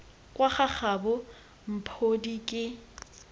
kwa ga gabo mphodi ke